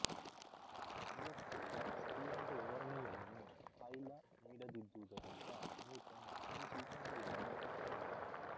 ಇವಕ್ಕೆಲ್ಲ ಸರಿಯಾದ ವಿವರಣೆಯನ್ನು ಹಾಯ್ಲ ನೀಡದಿದ್ದುದರಿಂದ ನ್ಯೂಟನ್ ಈ ಸೂಚನೆಗಳನ್ನು ಒಪ್ಪಲಿಲ್ಲ